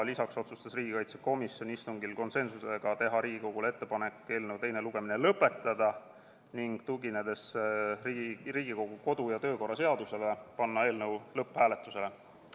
Lisaks otsustas riigikaitsekomisjon konsensusega teha Riigikogule ettepaneku eelnõu teine lugemine lõpetada ning, tuginedes Riigikogu kodu- ja töökorra seadusele, panna eelnõu lõpphääletusele.